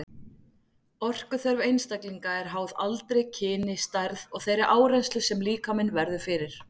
Orkuþörf einstaklinga er háð aldri, kyni, stærð og þeirri áreynslu sem líkaminn verður fyrir.